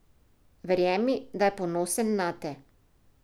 Verjemi, da je ponosen nate!